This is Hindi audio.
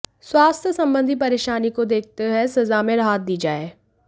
स्वास्थ्य संबंधी परेशानी को देखते हुए सजा में राहत दी जाए